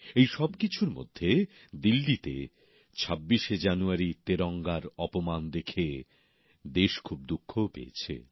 এই সবকিছুর মধ্যে দিল্লিতে ২৬শে জানুয়ারি তেরঙ্গার অপমান দেখে দেশ খুব দুঃখও পেয়েছে